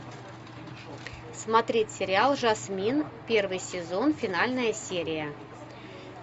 смотреть сериал жасмин первый сезон финальная серия